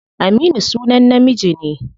Aminu sunan namiji ne.